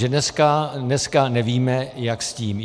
Že dneska nevíme, jak s tím.